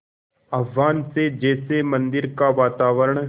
आह्वान से जैसे मंदिर का वातावरण